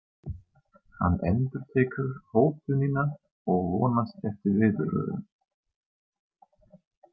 Hann endurtekur hótunina og vonast eftir viðbrögðum.